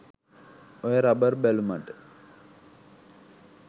ඔය රබර් බැලුමට